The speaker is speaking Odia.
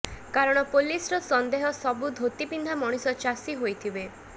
କାରଣ ପୁଲିସର ସନ୍ଦେହ ସବୁ ଧୋତି ପିନ୍ଧା ମଣିଷ ଚାଷୀ ହୋଇଥିବେ